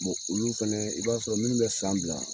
olu fɛnɛ, i b'a sɔrɔ minnu bɛ san bila